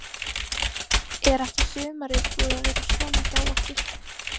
Er ekki sumarið búið að vera svona hjá okkur?